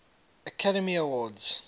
academy awards